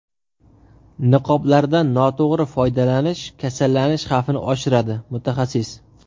Niqoblardan noto‘g‘ri foydalanish kasallanish xavfini oshiradi – mutaxassis.